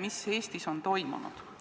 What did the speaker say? mis Eestis on toimunud.